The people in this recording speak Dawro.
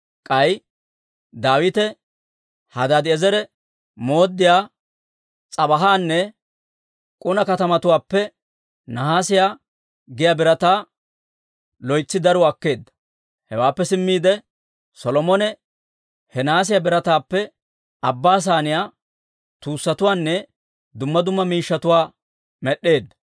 K'ay Daawite Hadaadi'eezere mooddiyaa S'ebaahanne Kuna katamatuwaappe nahaasiyaa giyaa birataa loytsi daruwaa akkeedda. Hewaappe simmiide, Solomone he nahaasiyaa birataappe Abbaa Saaniyaa, tuussatuwaanne dumma dumma miishshatuwaa med'd'eedda.